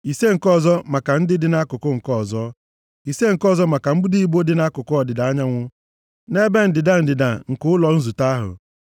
ise nke ọzọ maka ndị dị nʼakụkụ nke ọzọ, ise nke ọzọ maka mbudo ibo dị nʼakụkụ ọdịda anyanwụ, nʼebe ndịda ndịda nke ụlọ nzute ahụ